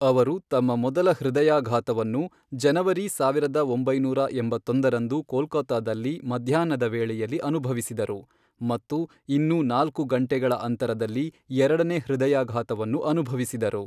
ಅವರು ತಮ್ಮ ಮೊದಲ ಹೃದಯಾಘಾತವನ್ನು , ಜನವರಿ ಸಾವಿರದ ಒಂಬೈನೂರ ಎಂಬತ್ತೊಂದರಂದು ಕೋಲ್ಕತ್ತಾದಲ್ಲಿ ಮಧ್ಯಾಹ್ನದ ವೇಳೆಯಲ್ಲಿ ಅನುಭವಿಸಿದರು ಮತ್ತು ಇನ್ನೂ ನಾಲ್ಕು ಗಂಟೆಗಳ ಅಂತರದಲ್ಲಿ ಎರಡನೇ ಹೃದಯಾಘಾತವನ್ನು ಅನುಭವಿಸಿದರು.